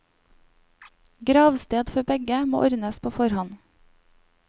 Gravsted for begge må ordnes på forhånd.